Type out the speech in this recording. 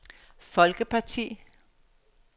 folkeparti